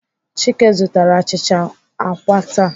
Chike zụtara achịcha àkwá taa.